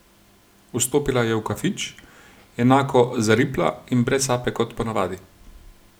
Vstopila je v kafič, enako zaripla in brez sape kot ponavadi.